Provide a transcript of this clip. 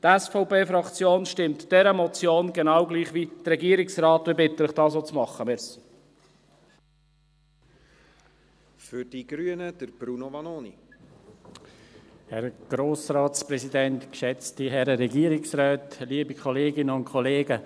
Die SVP-Fraktion stimmt dieser Motion zu, genau wie der Regierungsrat, und ich bitte Sie, dies auch zu machen.